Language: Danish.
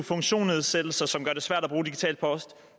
funktionsnedsættelser som gør det svært at bruge digital post